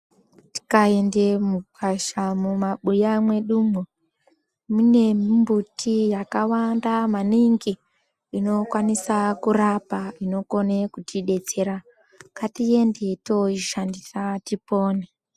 Tikaende mukwasha mumabuya mwedu umwo , mune mbuti yakawanda maningi inokwanisa kurapa inokone kutidetsera .Ngatiende tooishandisa tipone .